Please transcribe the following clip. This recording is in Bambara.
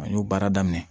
An y'o baara daminɛ